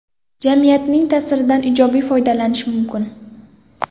Jamiyatning ta’siridan ijobiy foydalanish mumkin.